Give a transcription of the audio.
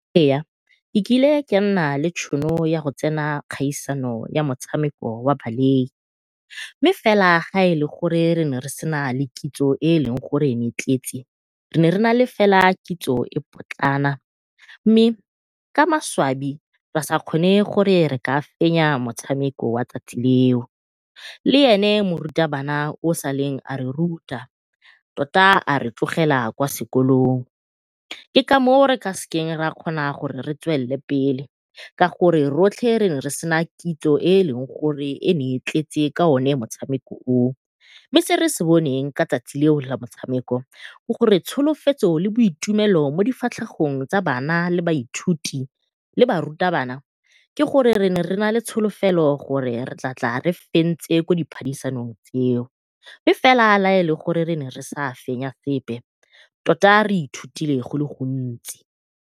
nkile ka nna le tšhono ya go tsena kgaisano ya metshameko wa mme fela la e le gore re ne re sena le kitso e e leng gore ne e tletse, re ne re nale fela kitso e potlana. Mme ka maswabi ra sa kgone gore re ka fenya motshameko wa 'tsatsi leo, le ene morutabana yo saleng a re ruta tota a re tlogela kwa sekolong. Ke ka moo re ka se ra kgona gore re tswelele pele ka gore rotlhe re ne re sena kitso e e leng gore e ne e tletse ka o ne motshameko oo. Mme se re se boneng ka 'tsatsi leo la motshameko ke gore tsholofetso le boitumelo mo difatlhegong tsa bana le baithuti le barutabana, ke gore re ne re nale tsholofelo ya gore re tlatla re fentse ko diphadisanong tseo mme fela la e le gore re ne re sa fenya sepe tota re ithutile go le gontsi.